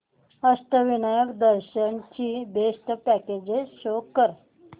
अष्टविनायक दर्शन ची best packages show कर